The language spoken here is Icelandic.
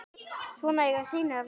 Svona eiga synir að vera.